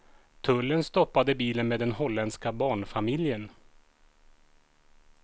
Tullen stoppade bilen med den hollänska barnfamiljen.